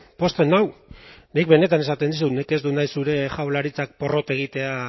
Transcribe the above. entzuteak pozten nik benetan esaten dizut ni ez dut nahi zure jaurlaritzak porrot egitea